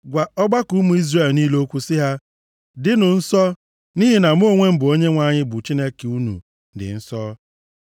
“Gwa ọgbakọ ụmụ Izrel niile okwu sị ha: ‘Dịnụ nsọ, nʼihi na mụ onwe m bụ Onyenwe anyị bụ Chineke unu, dị nsọ.